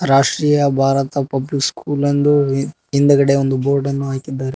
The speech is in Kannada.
ರಾಷ್ಟ್ರೀಯ ಭಾರತ ಪಬ್ಲಿಕ್ ಸ್ಕೂಲ್ ಎಂದು ಹಿಂದುಗಡೆ ಒಂದು ಬೋರ್ಡ್ ಅನ್ನು ಹಾಕಿದ್ದಾರೆ.